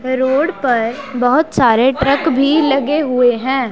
Road पर बहुत सारे ट्रक भी लगे हुए हैं।